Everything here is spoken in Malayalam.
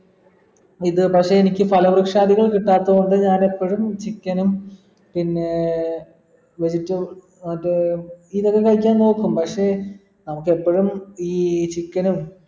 ഇത് പക്ഷെ എനിക്ക് പല വൃക്ഷാദികൾ കിട്ടാത്തൊണ്ട് ഞാൻ എപ്പോഴും chicken ഉം പിന്നെ പരിപ്പും മറ്റേ കഴിക്കാൻ നോക്കും പക്ഷെ നമുക്കെപ്പോഴും ഈ chicken ഉം